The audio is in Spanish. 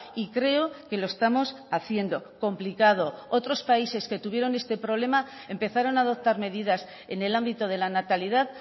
y creo que lo estamos haciendo complicado otros países que tuvieron este problema empezaron a adoptar medidas en el ámbito de la natalidad